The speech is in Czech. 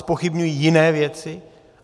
Zpochybňují jiné věci.